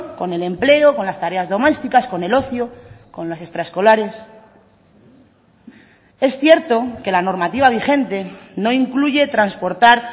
con el empleo con las tareas domésticas con el ocio con las extraescolares es cierto que la normativa vigente no incluye transportar